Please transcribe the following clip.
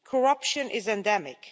corruption is endemic.